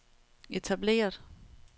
etableret